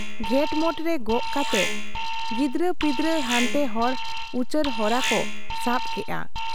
ᱜᱷᱮᱸᱴᱢᱚᱴ ᱨᱮ ᱜᱚᱜ ᱠᱟᱛᱮ, ᱜᱤᱫᱽᱨᱟᱹ ᱯᱤᱫᱽᱨᱟᱹ ᱦᱟᱱᱛᱮ ᱦᱚᱲ ᱩᱪᱟᱹᱲ ᱦᱚᱨᱟ ᱠᱚ ᱥᱟᱵ ᱠᱮᱜ ᱟ ᱾